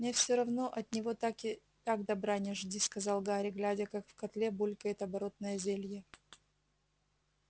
мне все равно от него так и так добра не жди сказал гарри глядя как в котле булькает оборотное зелье